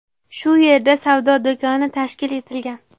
Shu yerda savdo do‘koni tashkil etilgan.